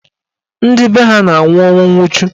Ndị be ha na-anwụ ọnwụ nwuchu.